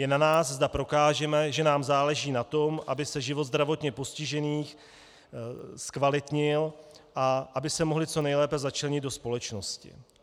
Je na nás, zda prokážeme, že nám záleží na tom, aby se život zdravotně postižených zkvalitnil a aby se mohli co nejlépe začlenit do společnosti.